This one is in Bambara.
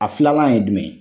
A filalan ye jumɛn ye.